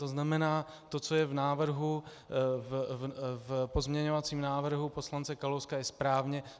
To znamená, to, co je v pozměňovacím návrhu poslance Kalouska, je správně.